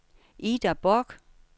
Ida Borch